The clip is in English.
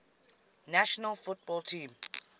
national football team